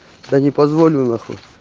да не позволю на хуй